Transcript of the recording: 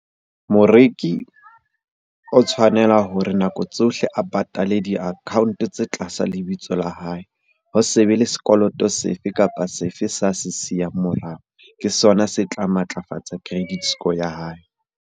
Moreki o tshwanela hore nako tsohle a patale di-account-o tse tlasa lebitso la hae. Ho se be le sekoloto se fe kapa se fe sa se siyang morao. Ke sona se tla matlafatsa credit score ya hae.